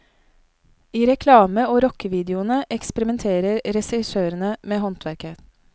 I reklame og rockevideoene eksperimenterer regissørene med håndverket.